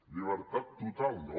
llibertat total no